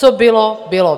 Co bylo, bylo.